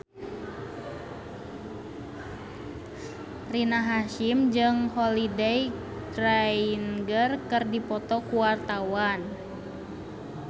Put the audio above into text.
Rina Hasyim jeung Holliday Grainger keur dipoto ku wartawan